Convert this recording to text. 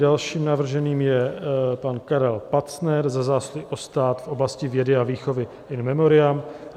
Dalším navrženým je pan Karel Pacner za zásluhy o stát v oblasti vědy a výchovy, in memoriam.